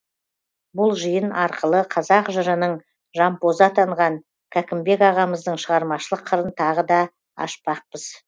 бұл жиын арқылы қазақ жырының жампозы атанған кәкімбекағамыздың шығармашылық қырын тағы да ашпақпыз